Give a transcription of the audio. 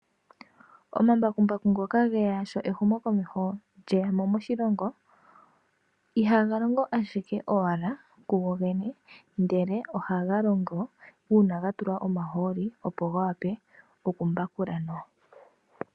Omambakumbaku ngoka geya sho ehumokomeho lyeya mo moshilongo. Ihaga longo ashike owala kugogene ashike ohaga longo uuna ga tulwa omahooli opo ga vule okumbakula nawa.